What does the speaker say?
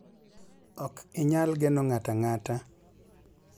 Ok inyal geno ng'ato ang'ata.